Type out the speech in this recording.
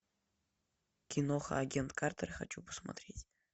киноха агент картер хочу посмотреть